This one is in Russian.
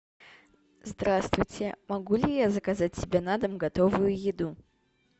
здравствуйте могу ли я заказать себе на дом готовую еду